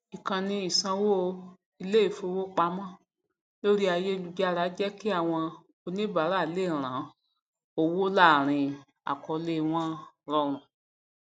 ìkànni ìsánwó iléifowopamọ lórí ayélujára jẹ kí àwọn oníbàárà lè rán owó láàrín àkọọlẹ wọn rọrùn